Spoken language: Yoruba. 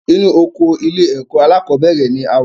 Inu oko ilé ẹ̀kọ́ alákọ̀bẹ́rẹ̀ ni a wa